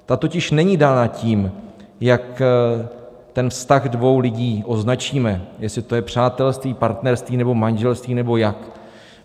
Ta totiž není dána tím, jak ten vztah dvou lidí označíme, jestli to je přátelství, partnerství nebo manželství nebo jak.